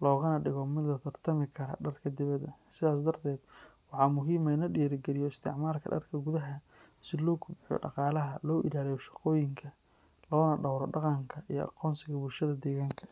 loogana dhigo mid la tartami kara dharka dibadda. Sidaas darteed, waxaa muhiim ah in la dhiirrigeliyo isticmaalka dharka gudaha si loo kobciyo dhaqaalaha, loo ilaaliyo shaqooyinka, loona dhowro dhaqanka iyo aqoonsiga bulshada deegaanka.